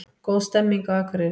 Góð stemning á Akureyri